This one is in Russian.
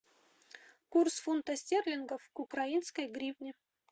курс фунта стерлингов к украинской гривне